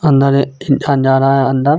अंदर एक इंसान जा रहा है अंदर.